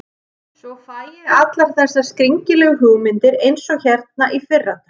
Svo fæ ég allar þessar skringilegu hugmyndir, einsog hérna í fyrradag.